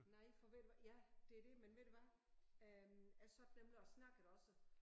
Nej for ved du hvad ja det er det men ved du hvad? Øh jeg sad nemlig og snakkede også